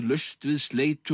laust við